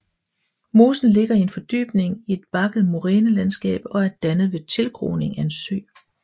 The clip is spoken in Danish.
Mosen ligger i en fordybning i et bakket morænelandskab og er dannet ved tilgroning af en sø